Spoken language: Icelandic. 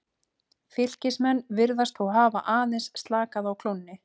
Fylkismenn virðast þó hafa aðeins slakað á klónni.